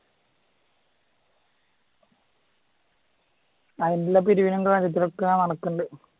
അതിൻറ്റെ പിരിവിനും കാര്യത്തിനൊക്കെ ഇങ്ങനെ നടക്കുന്നുണ്ട്